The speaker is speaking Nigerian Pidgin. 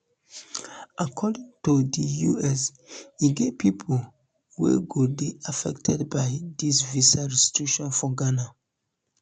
according to di us e get pipo wey go dey affected by disvisa restriction for ghana